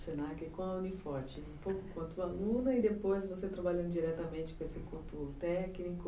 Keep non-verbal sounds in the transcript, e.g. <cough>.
<unintelligible> Se na que e com a Uni Forte <unintelligible> Um pouco quanto aluna e depois você trabalhando diretamente com esse corpo técnico.